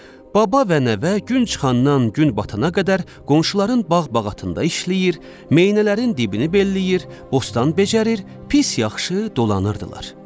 Baba və nəvə gün çıxandan gün batana qədər qonşuların bağ-bağatında işləyir, meynələrin dibini belləyir, bostan becərir, pis yaxşı dolanırdılar.